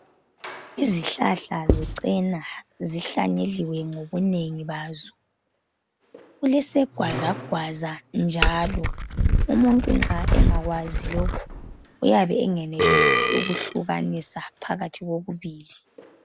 Izihlahla zecena zihlanyeliwe ngobunengi bazo. Kulesegwazagwaza njalo, umuntu nxa engakwazi lokhu uyabe engenelisi ukuhlukanisa phakathi kokubili.